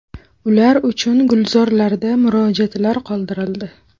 Ular uchun gulzorlarda murojaatlar qoldirildi .